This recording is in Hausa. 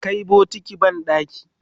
ka Kai bokati banɗaki?